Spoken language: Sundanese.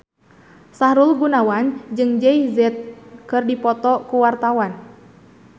Sahrul Gunawan jeung Jay Z keur dipoto ku wartawan